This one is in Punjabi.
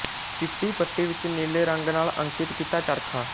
ਚਿੱਟੀ ਪੱਟੀ ਵਿੱਚ ਨੀਲੇ ਰੰਗ ਨਾਲ ਅੰਕਿਤ ਕੀਤਾ ਚਰਖਾ